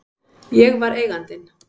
Ég var Eigandinn.